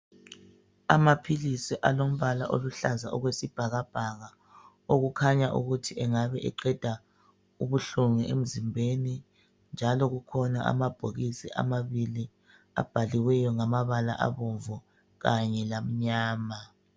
Amaphilisi alombala oluhlaza okwesibhakabhaka, okukhanya ukuthi angabe eqeda ubuhlungu emzimbeni njalo kukhona amabhokisi amabili abhaliweyo ngamabala abomvu kanye lamnyama.